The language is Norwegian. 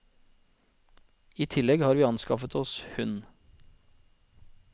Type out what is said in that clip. I tillegg har vi anskaffet oss hund.